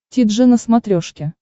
ти джи на смотрешке